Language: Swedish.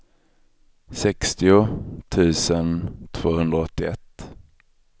sextio tusen tvåhundraåttioett